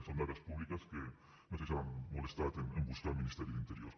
són dades públiques que no sé si s’han molestat en buscar al ministeri d’interior